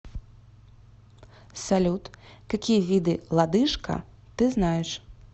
салют какие виды лодыжка ты знаешь